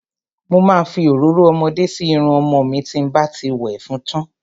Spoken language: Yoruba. Mo ma fi òróró ọmọdé sí irun ọmọ mi tí n bá ti wẹ̀ fún tán.